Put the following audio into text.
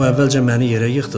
O əvvəlcə məni yerə yıxdı.